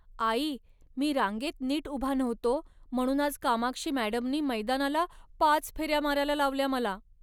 आई, मी रांगेत नीट उभा नव्हतो म्हणून आज कामाक्षी मॅडमनी मैदानाला पाच फेऱ्या मारायला लावल्या मला.